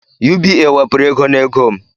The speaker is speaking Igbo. UBA wepuru ego n'ego m